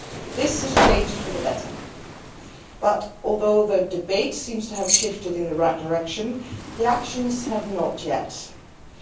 This has changed for the better, but although the debate seems to have shifted in the right direction, the actions have not yet shifted.